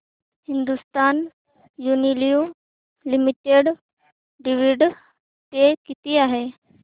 Hindustan Unilever limited dividend pay किती आहे